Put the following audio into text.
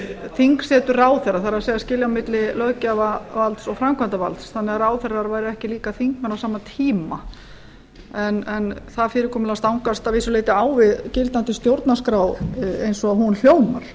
þingsetu ráðherra það er skilja á milli löggjafarvalds og framkvæmdarvalds þannig að ráðherrar væru ekki eiga þingmenn á sama tíma en það fyrirkomulag stangast að vissu leyti á við gildandi stjórnarskrá eins og hún hljómar